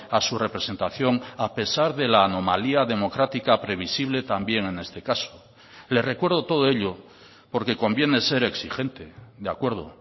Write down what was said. a su representación a pesar de la anomalía democrática previsible también en este caso le recuerdo todo ello porque conviene ser exigente de acuerdo